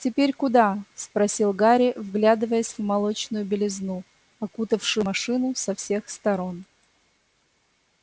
теперь куда спросил гарри вглядываясь в молочную белизну окутавшую машину со всех сторон